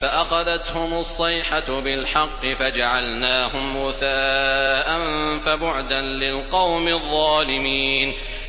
فَأَخَذَتْهُمُ الصَّيْحَةُ بِالْحَقِّ فَجَعَلْنَاهُمْ غُثَاءً ۚ فَبُعْدًا لِّلْقَوْمِ الظَّالِمِينَ